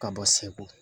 Ka bɔ segu